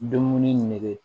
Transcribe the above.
Dumuni nege